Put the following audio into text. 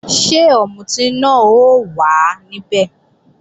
Ṣé ọ̀mùtí náà ó wà níbẹ̀?